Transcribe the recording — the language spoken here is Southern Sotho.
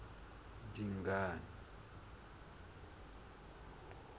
dingane